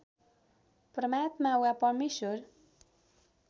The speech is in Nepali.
परमात्मा वा परमेश्वर